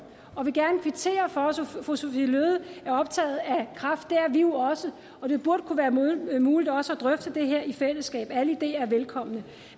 og vil gerne kvittere for at fru sophie løhde er optaget af kræft det er vi jo også og det burde kunne være muligt også at drøfte det her i fællesskab alle ideer er velkomne